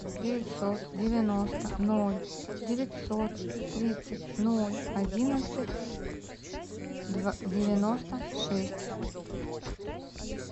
девятьсот девяносто ноль девятьсот тридцать ноль одиннадцать девяносто шесть